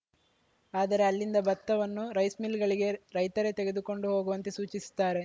ಆದರೆ ಅಲ್ಲಿಂದ ಭತ್ತವನ್ನು ರೈಸ್‌ಮಿಲ್‌ಗಳಿಗೆ ರೈತರೇ ತೆಗೆದಕೊಂಡು ಹೋಗುವಂತೆ ಸೂಚಿಸುತ್ತಾರೆ